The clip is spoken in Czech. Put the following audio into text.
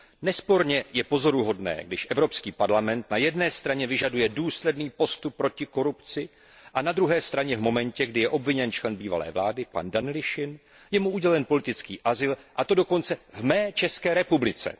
Nesporně je pozoruhodné, když Evropský parlament na jedné straně vyžaduje důsledný postup proti korupci a na druhé straně v momentě, kdy je obviněn člen bývalé vlády pan Danilišin, je mu udělen politický azyl, a to dokonce v mé České republice.